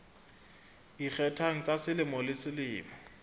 ikgethang tsa selemo le selemo